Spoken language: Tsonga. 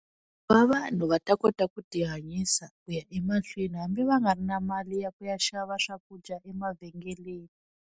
Ku va vanhu va ta kota ku ti hanyisa ku ya emahlweni hambi va nga ri na mali ya ku ya xava swakudya emavhengeleni.